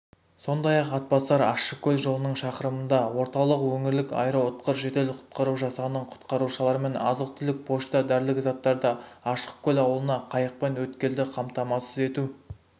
сондай-ақ атбасар-ащыкөл жолының шақырымында орталық өңірлік аэроұтқыр жедел-құтқару жасағының құтқарушыларымен азық-түлік пошта дәрілік заттарды ащыкө ауылына қайықпен өткелді қамтамасыз ету